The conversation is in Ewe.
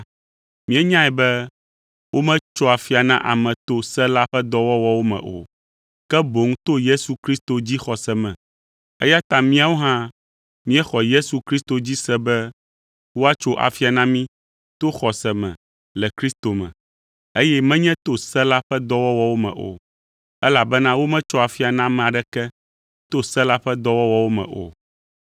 míenyae be wometsoa afia na ame to se la ƒe dɔwɔwɔwo me o, ke boŋ to Yesu Kristo dzixɔse me. Eya ta míawo hã míexɔ Yesu Kristo dzi se be woatso afia na mí to xɔse me le Kristo me, eye menye to se la ƒe dɔwɔwɔwo me o, elabena wometsoa afia na ame aɖeke to se la ƒe dɔwɔwɔwo me o.